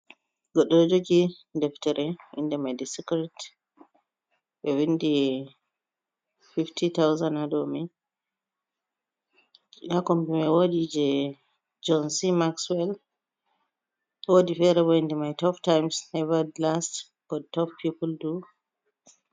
Goɗɗo ɗo jogi deftere inde mai de sikret. Ɓe vindi 50,000 ha dou mai. Ha kombi mai woodi jei John C. Maxwel woodi fere inda mai tof taims neva last, bot tof pipul du.